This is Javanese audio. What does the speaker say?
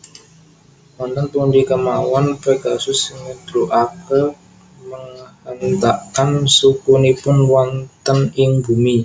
Wonten pundi kemawon Pegasus nggedrugake menghentakkan sukunipun wonten ing bumi